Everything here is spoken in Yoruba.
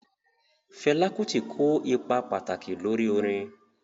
Fẹla Kuti ko ipa pataki lori orin.